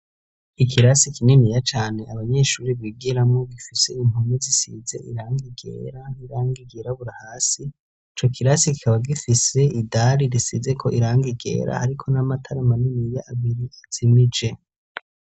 ikirasi kininiya cane abanyeshuri bigiramo bifise impumi zisize iranga igera iranga igirabura hasi co kirasi ikaba gifise idali risize ko iranga ryera hariko n'amatara maniniya abiri azimije.